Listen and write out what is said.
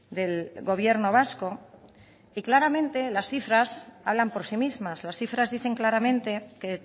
del gobierno vasco y claramente en las cifras hablan por sí mismas las cifras dicen claramente que